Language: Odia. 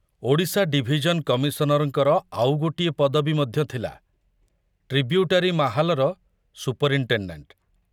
ଓଡ଼ିଶା ଡିଭିଜନ କମିଶନରଙ୍କର ଆଉ ଗୋଟିଏ ପଦବୀ ମଧ୍ୟ ଥିଲା, ଟ୍ରିବ୍ୟୁଟାରୀ ମାହାଲର ସୁପରିନଟେଣ୍ଡେଣ୍ଟ।